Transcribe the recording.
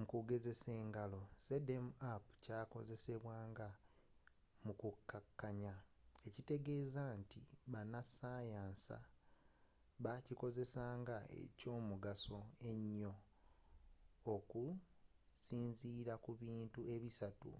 mukugezesa engalo, zmapp kyakozesebwa nga mu kukakanya ekitegeza nti abasayansa bakikozesa nga ekyomugaso ennyo okusinzila ku bintu ebisatu